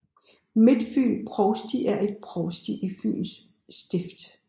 Midtfyn Provsti er et provsti i Fyens Stift